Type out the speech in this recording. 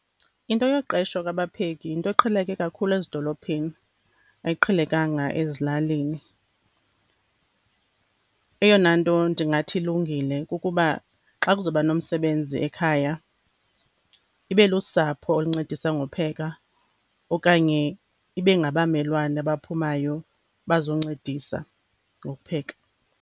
Into yokuqeshwa kwabapheki yinto eqheleke kakhulu ezidolophini, ayiqhelekanga ezilalini. Eyona nto ndingathi ilungile kukuba xa kuzawuba nomsebenzi ekhaya ibe lusapho oluncedisa ngopheka okanye ibe ngabamelwane abaphumayo bazoncedisa ngokupheka.